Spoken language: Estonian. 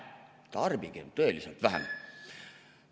Tarbigem tõeliselt vähem.